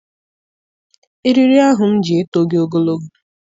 Eriri ahụ m ji etoghị ogologo.